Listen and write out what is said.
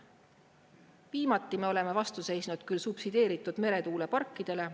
Viimati me oleme vastu seisnud küll subsideeritud meretuuleparkidele.